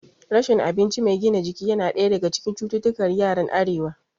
Rashin abinci mai gina jiki yana ɗaya daga cikin cututtukar yaran arewa